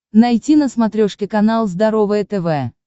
найти на смотрешке канал здоровое тв